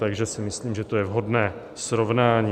Takže si myslím, že to je vhodné srovnání.